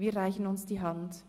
Wir reichen uns die Hand.